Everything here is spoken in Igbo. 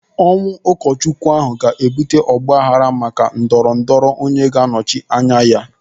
Ọnwụ ụkọchukwu ahụ ga-ebute ọgbaaghara maka ndọrọ ndọrọ onye ga-anọchi anya ya.